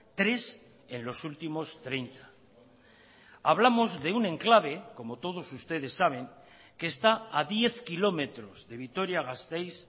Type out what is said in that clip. tres en los últimos treinta hablamos de un enclave como todos ustedes saben que está a diez kilómetros de vitoria gasteiz